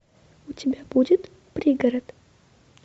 у тебя будет пригород